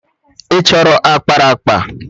Ị chọrọ ákpáraàkpà?